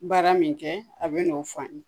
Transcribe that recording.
Baara min kɛ a bi n'o fɔ an ye.